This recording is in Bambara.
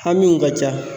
Hamiw ka ca